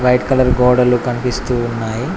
White colour గోడలు కన్పిస్తూ ఉన్నాయి.